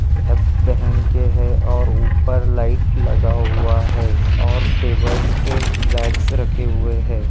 Cap पहन के हैं और ऊपर लाइट लगा हुआ है और टेबल्स पे बॅग्स रखे हुए हैं।